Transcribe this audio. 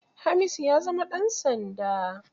Hamisu ya zama ɗan sanda.